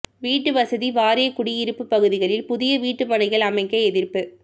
வீட்டுவசதி வாரிய குடியிருப்புப் பகுதியில் புதிய வீட்டு மனைகள் அமைக்க எதிா்ப்பு